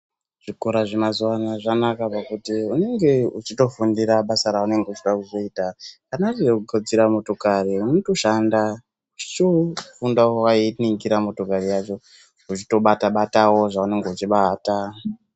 Zvikora zvemazuva ano zvanaka ngokuti unenge uchitofundira basa raunenge uchida kuzoita. Kana riri rekugadzira motokari unotoshanda weitofundira wakainingira motokari yacho, uchitobata-batawo zvaunenge wechubata.